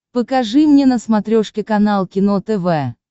покажи мне на смотрешке канал кино тв